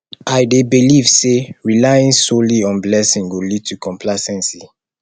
i dey believe say relying solely on blessing go lead to complacency